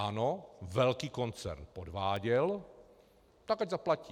Ano, velký koncern podváděl, tak ať zaplatí.